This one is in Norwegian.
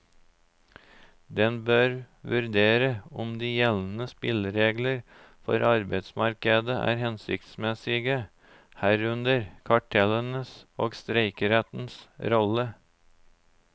Den bør vurdere om de gjeldende spilleregler for arbeidsmarkedet er hensiktsmessige, herunder kartellenes og streikerettens rolle.